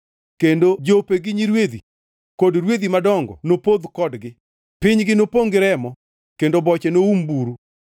Kendo jope, gi nyirwedhi kod rwedhi madongo nopodh kodgi. Pinygi nopongʼ gi remo, kendo boche noum buru.